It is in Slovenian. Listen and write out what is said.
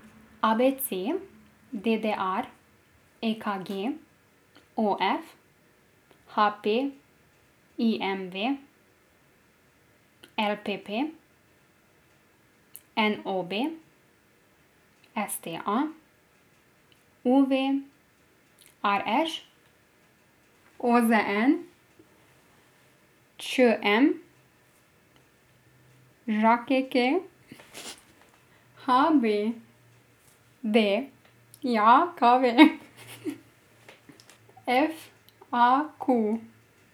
A B C; D D R; E K G; O F; H P; I M V; L P P; N O B; S T A; U V; R Š; O Z N; Č M; Ž K K; H B D J K V; F A Q.